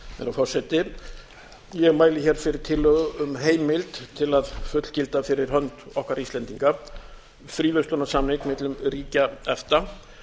herra forseti ég mæli hér fyrir tillögu um heimild til að fullgilda fyrir hönd okkar íslendinga fríverslunarsamning millum ríkja efta